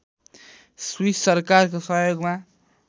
Swiss सरकारको सहयोगमा